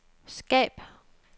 skab